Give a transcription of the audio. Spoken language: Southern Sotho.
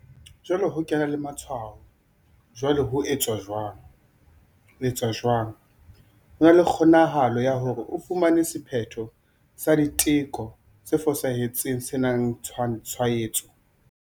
Jwale ho ke ena le matshwao. Jwale ho etswa jwang? etswa jwang? Ho na le kgonahalo ya hore o fumane sephetho sa diteko se fosahetseng se senangtshwaetso.